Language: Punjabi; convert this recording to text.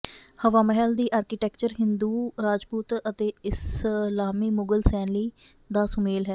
ਹਵਾ ਮਹਲ ਦੀ ਆਰਕੀਟੈਕਚਰ ਹਿੰਦੂ ਰਾਜਪੂਤ ਅਤੇ ਇਸਲਾਮੀ ਮੁਗਲ ਸ਼ੈਲੀ ਦਾ ਸੁਮੇਲ ਹੈ